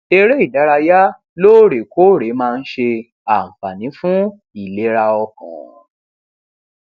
eré ìdárayá lóòrè kóòrè máa ń ṣe ànfààní fún ìlera ọkàn